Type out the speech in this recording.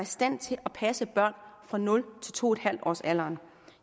stand til at passe børn fra nul to en halv årsalderen